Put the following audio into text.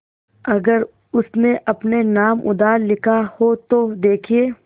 अगर उसने अपने नाम उधार लिखा हो तो देखिए